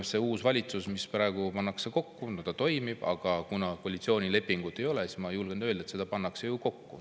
See uus valitsus, mida praegu pannakse kokku, no ta toimib, aga kuna koalitsioonilepingut ei ole, siis ma julgen öelda, et seda pannakse kokku.